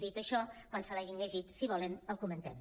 dit això quan se l’hagin llegit si ho volen el comentem